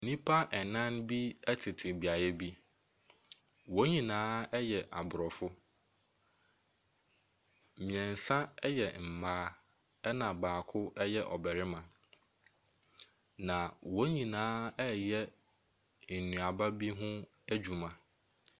Nnipa ɛnan bi ɛtete beaeɛ bi. Wɔn nyinaa ɛyɛ abrɔfo. Mmiɛnsa ɛyɛ mmaa ɛna baako ɛyɛ ɔbarima. Na wɔn nyinaa ɛyɛ nnuaba bi ho adwuma.